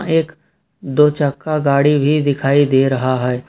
एक दो चक्का गाड़ी भी दिखाई दे रहा है।